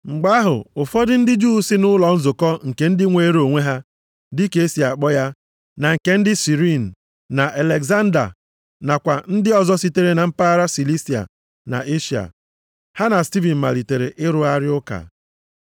Mgbe ahụ ụfọdụ ndị Juu si nʼụlọ nzukọ nke ndị nweere onwe ha (dị ka e si akpọ ya), na nke ndị Sirini na Alegzandria nakwa ndị ọzọ sitere na mpaghara Silisia na Eshịa. Ha na Stivin malitere ịrụgharị ụka.